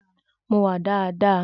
Mo wà daadaa.